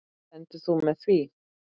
Stendur þú með því?